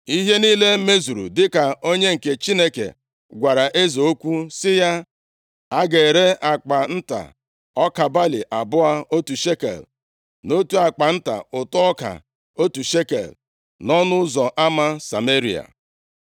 Ihe niile mezuru dịka onye nke Chineke gwara eze okwu sị ya, “A ga-ere akpa nta ọka balị abụọ otu shekel na otu akpa nta ụtụ ọka otu shekel, nʼọnụ ụzọ ama Sameria.”